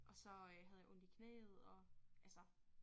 Og så øh havde jeg ondt i knæet og altså